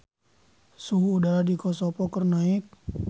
Suhu udara di Kosovo keur naek